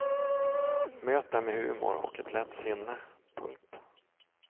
Möt dem med humor och ett lätt sinne. punkt